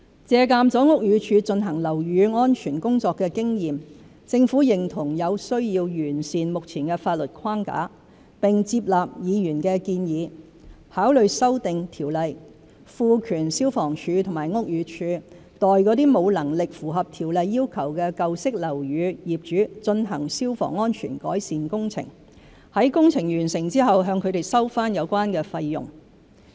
借鑒了屋宇署進行樓宇安全工作的經驗，政府認同有需要完善目前的法律框架，並接納議員的建議，考慮修訂《條例》，賦權消防處和屋宇署代沒有能力符合《條例》要求的舊式樓宇業主進行消防安全改善工程，在工程完成後向他們收回有關費用。